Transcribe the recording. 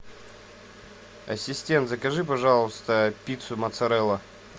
ассистент закажи пожалуйста пиццу моцарелла